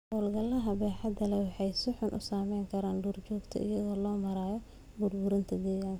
Hawlgallada baaxadda leh waxay si xun u saameyn karaan duurjoogta iyadoo loo marayo burburinta deegaanka.